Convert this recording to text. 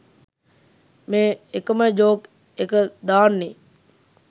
මේ එකම ජෝක් එක දාන්නේ?